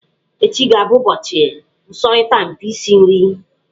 Echi ga-abụ ụbọchị nsọrita mpi isi nri.